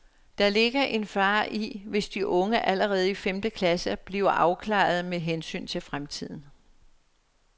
Der ligger en fare i, hvis de unge allerede i femte klasse bliver afklarede med hensyn til fremtiden.